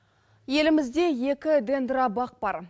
елімізде екі дендрабақ бар